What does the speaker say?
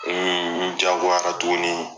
n jagoyara tuguni.